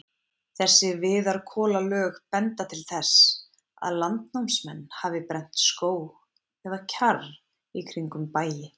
Þessi viðarkolalög benda til þess, að landnámsmenn hafi brennt skóg eða kjarr í kringum bæi.